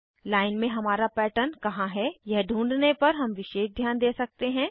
line में हमारा pattern कहाँ है यह ढूँढने पर हम विशेष ध्यान दे सकते हैं